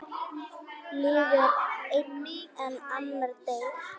Lifir einn en annar deyr?